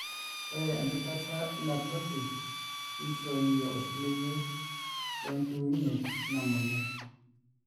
ore empikata ina toki nishooyie osiligi le nchiunye inamoyian